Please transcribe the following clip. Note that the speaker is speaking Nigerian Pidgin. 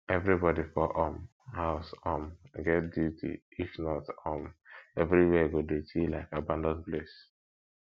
everybody for um house um get duty if not um everywhere go dirty like abanAcceptedd place